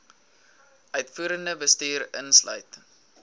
uitvoerende bestuur insluit